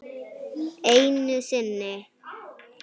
Einu sinni.